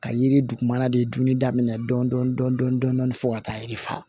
Ka yiri dugumana de dunni daminɛ dɔɔnin dɔɔnin fo ka taa yiri fa